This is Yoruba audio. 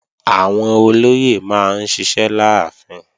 Àwọn olóyè máa ń ṣiṣẹ́ láàfin